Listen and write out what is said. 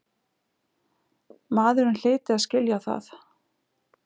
Maðurinn hlyti að skilja það.